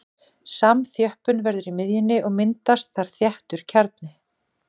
Samþjöppun verður í miðjunni og myndast þar þéttur kjarni.